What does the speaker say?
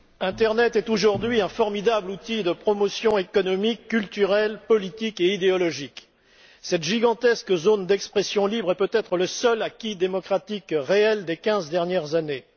Monsieur le Président, l'internet est aujourd'hui un formidable outil de promotion économique, culturelle, politique et idéologique. Cette gigantesque zone d'expression libre est peut être le seul acquis démocratique réel des quinze dernières années.